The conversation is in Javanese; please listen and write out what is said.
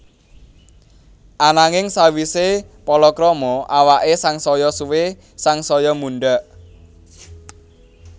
Ananging sawisé palakrama awaké sangsaya suwé sangsaya mundhak